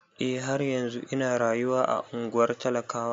Eh, har yanzun ina rayuwa a ungwar talakawa.